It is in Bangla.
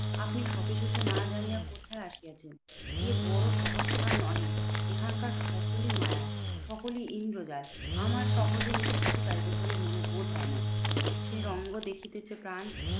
আপনি সবিশেষে না জানিয়া কোথায় আসিয়াছেন? এ বড় সহজ স্থান নহে। এখানকার সকলই মায়া সকলই ইন্দ্রজাল। আমার সহজে নিষ্কৃতি পাইবো বলে মনে বোধ হয় না। সে রঙ্গ দেখিতেছে প্রাণ